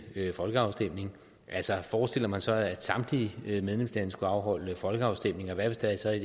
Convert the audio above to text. folkeafstemning altså forestiller man sig så at samtlige medlemslande skulle afholde folkeafstemninger og hvad hvis der så i